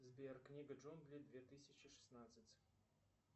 сбер книга джунглей две тысячи шестнадцать